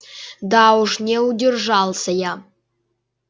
да уж не удержался я